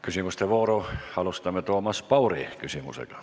Küsimuste vooru alustame Toomas Pauri küsimusega.